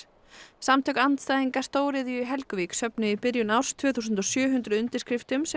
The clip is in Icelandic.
samtök andstæðinga stóriðju í Helguvík söfnuðu í byrjun árs tvö þúsund og sjö hundruð undirskriftum sem